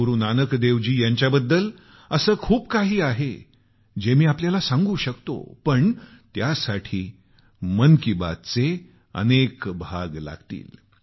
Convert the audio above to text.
श्री गुरूनानक देवजी यांच्याबद्दल असे खूप काही आहे जे मी आपल्याला सांगू शकतो पण त्यासाठी मन की बातचे अनेक भाग लागतील